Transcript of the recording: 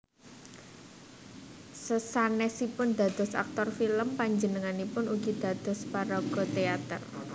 Sasanèsipun dados aktor film panjenenganipun ugi dados paraga téater